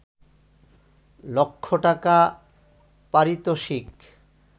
লক্ষ টাকা পারিতোষিক